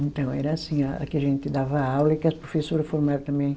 Então, era assim, a a que a gente dava aula e que as professora formava também.